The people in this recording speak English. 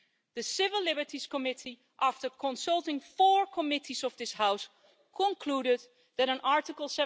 The Civil Liberties Committee, after consulting four committees of this House, concluded that an Article